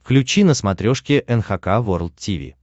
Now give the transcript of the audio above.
включи на смотрешке эн эйч кей волд ти ви